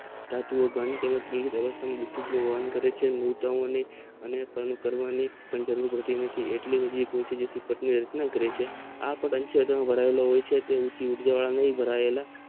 આંતરિક વિધુત નું વહન કરે છે મોટા ઓ ને કામ કરવાનું એટલી બધી આ પાસ નું ચિતંન કરે છે.